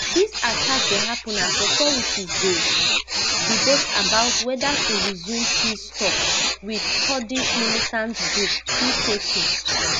dis attack dey happun as authorities dey debate about weda to resume peace tok wit kurdish militant group pkk